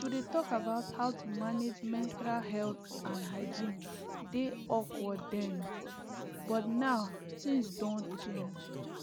to dey talk about how to manage menstrual health and hygiene dey awkward then oh but now things doh change